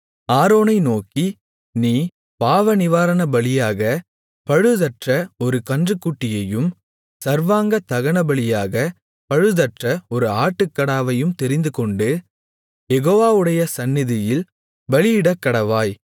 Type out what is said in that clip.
ஆரோனை நோக்கி நீ பாவநிவாரணபலியாக பழுதற்ற ஒரு கன்றுக்குட்டியையும் சர்வாங்க தகனபலியாக பழுதற்ற ஒரு ஆட்டுக்கடாவையும் தெரிந்துகொண்டு யெகோவாவுடைய சந்நிதியில் பலியிடக்கடவாய்